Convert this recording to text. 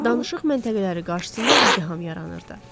danışıq məntəqələri qarşısında izdiham yaranırdı.